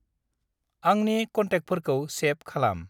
आंनि केन्टेकफोरखौ सेभ खालाम।